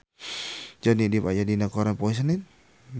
Johnny Depp aya dina koran poe Senen